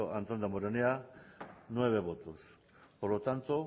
antón damborenea nueve votos por lo tanto